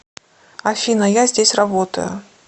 афина я здесь работаю